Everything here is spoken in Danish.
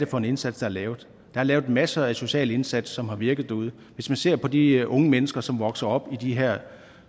for en indsats der laves der er lavet masser af sociale indsatser som har virket derude hvis man ser på de unge mennesker som vokser op i de her